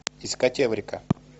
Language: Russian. искать эврика